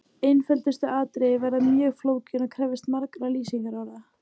Einföldustu atriði verða mjög flókin og krefjast margra lýsingarorða.